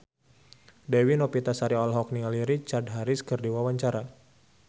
Dewi Novitasari olohok ningali Richard Harris keur diwawancara